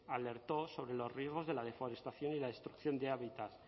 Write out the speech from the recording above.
alertó sobre los riesgos de la deforestación y la destrucción de hábitat